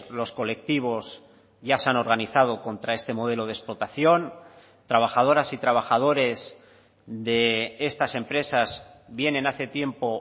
los colectivos ya se han organizado contra este modelo de explotación trabajadoras y trabajadores de estas empresas vienen hace tiempo